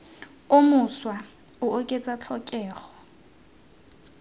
o mošwa o oketsa tlhokego